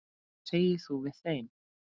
Hvað segir þú við þeim?